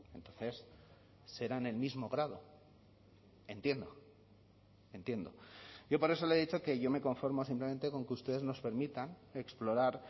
entonces serán el mismo grado entiendo entiendo yo por eso le he dicho que yo me conformo simplemente con que ustedes nos permitan explorar